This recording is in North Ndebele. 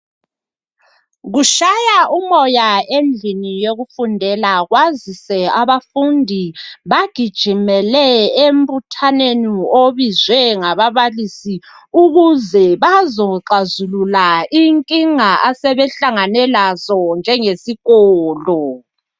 Kutshaya umoya endlini yokufundela kwazise abafundi bagijimele embuthanweni obizwe ngababalisi ukuze bazoxazulula inkinga asebehlangane lazo njengesikolo.